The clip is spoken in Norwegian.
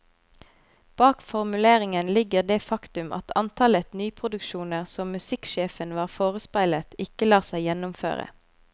Bak formuleringen ligger det faktum at antallet nyproduksjoner som musikksjefen var forespeilet, ikke lar seg gjennomføre.